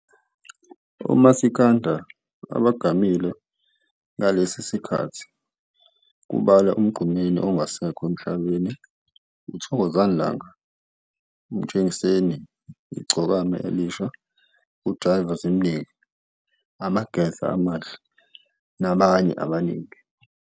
Omasikandi abagamile ngalesi sikhathi kubala Umgqumeni ongasekho emhlabeni, Thokozani Langa, Mtshengiseni, Igcokama Elisha, Jaiva Zimnike, Amageza Amahle nabanye abaningi.